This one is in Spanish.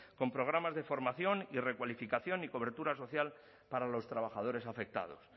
con programas de formación y recualificación y cobertura social para los trabajadores afectados